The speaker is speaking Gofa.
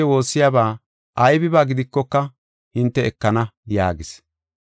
Ammanidi hinte woossiyaba aybiba gidikoka hinte ekana” yaagis.